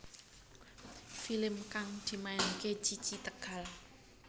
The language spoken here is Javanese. Film kang dimainake Cici Tegal